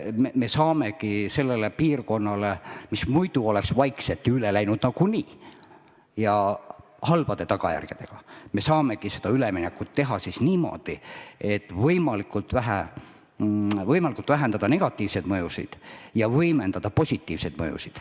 Me saamegi teha sellele piirkonnale, mis muidu oleks nagunii vaikselt üle läinud, halbade tagajärgedega, üleminekut niimoodi, et võimalikult palju vähendada negatiivseid mõjusid ja võimendada positiivseid mõjusid.